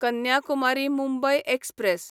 Kanyakumari Mumbai express